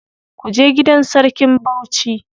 Kuje gidan sarkin Bauchi.